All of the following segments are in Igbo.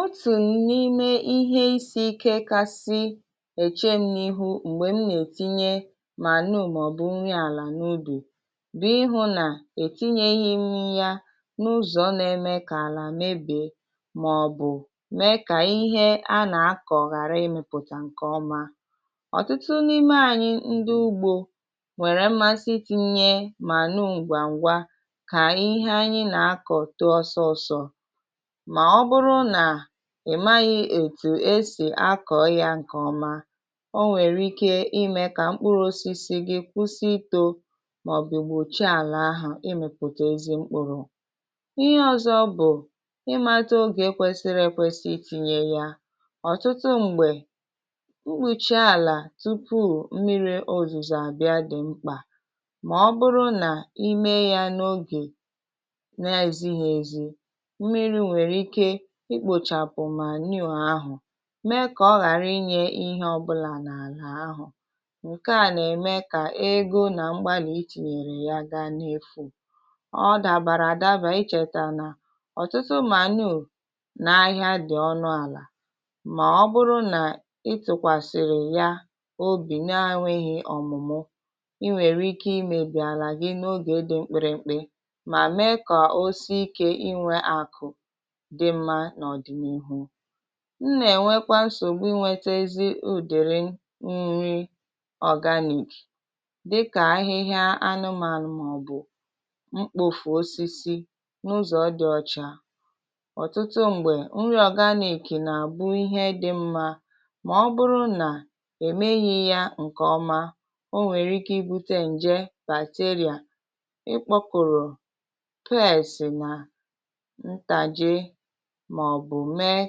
Otụ̀n n’ime ihe isi ike kasị èche m n’ihu m̀gbè m nà-ètinye manure màọ̀bụ̀ nri alà n’ubì bụ̀ ihụ̇ nà-ètinyeghịm yȧ n’ụzọ̀ n’eme kà àlà mebìe màọ̀bụ̀ mee kà ihe a nà-akọ̀ ghàra imėpụtà ǹkè ọma. Ọtụtụ n’ime anyị̇ ndụ ugbȯ nwèrè mmasị itinye manure ǹgwàṅgwà kà ihe anyị nà-akọ̀ toọ sọọsọ̇ maọbụrụ nà ị̀ maghị ètù esì akọ̀ ya ǹkèọma, o nwèrè ike imė kà mkpụrụ̇ osisi gị kwụsị itȯ màọ̀bụ gbòchia àlà ahụ̀ ịmịpụtà ezi mkpụrụ̇. Ihe ọ̇zọ̇ bụ̀ imato ogè kwèsịrị ekwesị itinyė ya. Ọtụtụ m̀gbè, mkpụchị àlà tupuù mmiri ozizo àbịa dị̀ mkpà mà ọ bụrụ nà ime ya n’ogè na-ezighị ezi, mmiri nwerike ikpochapụ manure ahụ, mee kà ọ ghàrị inye ihe ọbụlà n’àlà ahụ̀. Nke à nà-ème kà ego nà mgbalì i tìnyèrè ya gaa n’efù. Ọ dàbàrà àdaba ichètà nà ọ̀tụtụ manure nà ahịa dị̀ ọnụ àlà mà ọ bụrụ nà ịtụkwàsị̀rị̀ ya obì nȧ enweghị̇ ọ̀mụ̀mụ i nwèrè ike imėbì àlà gị n’ogè dị mkpịrị̇ mkpị mà me kà osi ike inwe akụ̀ dị mma nọdịnihu. M nà-ènwekwa nsògbu inwetezi ụdịrị nri organic dịkà ahịhịa anụmànụ màọbụ̀ mkpofù osisi n’ụzọ̀ dị̀ ọcha. Ọtụtụ m̀gbè, nri organic nà bụ ihe dị̇ mmȧ mà ọ bụrụ nà è meghị yȧ ǹkè ọma, o nwèrè ike ibu̇tė ǹje bacteria, ịkpọ kụ̀rụ̀ pests nà ntàjị maọbụ mee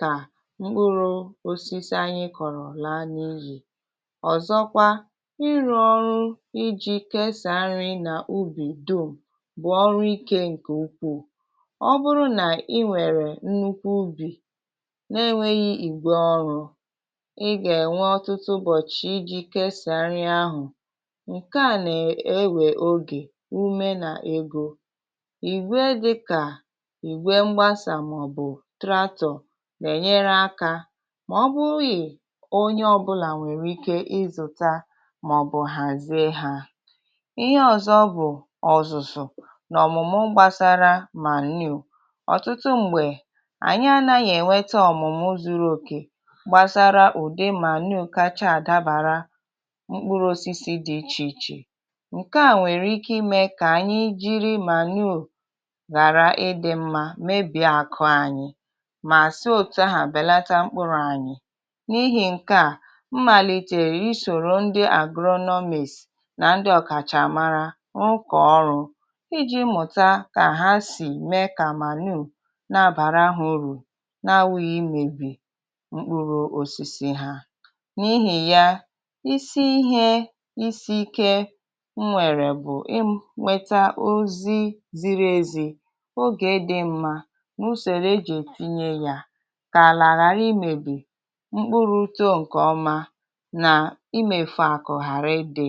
ka mkpụrụ̇ osisi anyị kọ̀rọ̀ laa n’iyì. Ọzọkwa, ịrụ̇ ọrụ iji̇ kesàa nri nà ubì dum bụ̀ ọrụ ikė ǹku ukwuù. Ọ bụrụ nà ị nwèrè nnukwu ubì na-enweghị ìgwè ọrụ̇, ị gà-ènwe ọtụtụ ụbọ̀chị̀ iji̇ kesàa nri ahụ̀. Nke à nà-ewè ogè, ume nà egȯ ìgwè dịkà. Igwe dịka igwe mgbasà mmàọbụ tractor na-enyere aka mọbụghị onye ọbụlà nwèrè ike ịzụ̀ta màọbụ̀ hazie ha. Ihe ọ̀zọ bụ̀ ọ̀zụ̀zụ̀ n’ọ̀mụ̀mụ gbasara manure. Ọtụtụ m̀gbè, ànyị anȧghị ènwete ọ̀mụ̀mụ zuru òkè gbasara ụ̀dị manure kacha àdabara mkpụrụ osisi dị ichè ichè. Nke à nwèrè ike imė kà ànyị jiri manure ghàra ịdị̇ mmȧ mebìe àkụ anyị ma si otuaha belata mkpụrụ anyị. N’ihi ǹke à, m màlìtèrè isòrò ndị agronomists nà ndị ọ̀kàchàmara rùkọ̀ ọrụ ịjị̇ mlmụ̀ta kà ha sì mee kà manure nà-abàrahu urù n’awụghị imėbì mkpụrụ osisi ha. nN’ihì ya, isi ihe isi ike m nwèrè bụ̀ ịnweta ozi ziri ezi, ogè dị mma, nusereji etinye ya kala ghari imebi, mkpụrụ̇ too ǹkè ọma nà imefu àkụ̀ ghàrịidị.